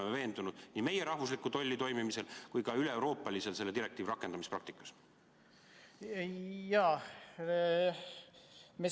Oleme me veendunud nii meie rahvusliku tolli toimimises kui ka selle direktiivi üleeuroopalises rakendamispraktikas?